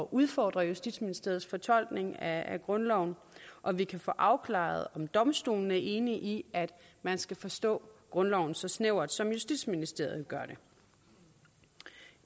udfordre justitsministeriets fortolkning af grundloven og vi kan få afklaret om domstolene er enige i at man skal forstå grundloven så snævert som justitsministeriet gør